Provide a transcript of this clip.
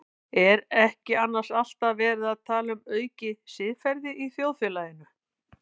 Er ekki annars alltaf verið að tala um aukið siðferði í þjóðfélaginu?